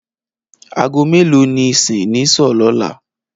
Aago mélòó ni ìsìn ní s̩óò̩ lóla?